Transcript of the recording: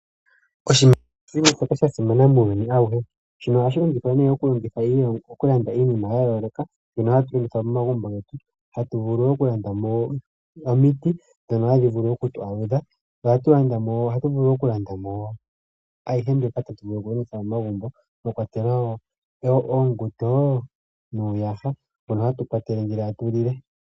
Oshimaliwa osha simana muuyuni auhe. Ohashi longithwa okulanda iinima ya yooloka mbyono hatu longitha momagumbo getu. Hatu vulu okulanda mo omiti ndhono hadhi vulu okutu aludha. Ohatu landa mo ayihe mbyoka tatu vulu okulongitha momagumbo mwa kwatelwa wo uusingo nuuyaha mbono hatu kwatele ngele tatu lile.